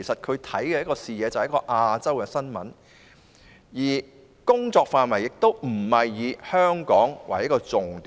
他的視野以亞洲新聞為主，工作範圍亦非以香港為重點。